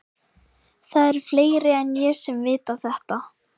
Það eru fleiri en ég sem vita þetta.